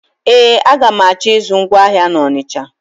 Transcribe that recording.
Ee, aga m achọ ịzụ ngwa ahịa na Ọnisha.